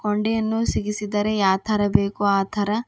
ಕೊಂಡಿಯನ್ನು ಸಿಗಿಸಿದ್ದಾರೆ ಯಾ ತರಬೇಕು ಆತರ.